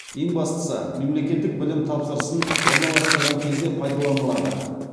ең бастысы мемлекеттік білім тапсырысын орналастырған кезде пайдаланылады